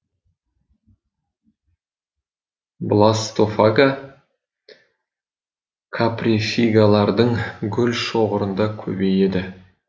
бластофага каприфигалардың гүл шоғырында көбейеді